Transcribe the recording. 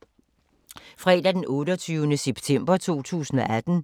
Fredag d. 28. september 2018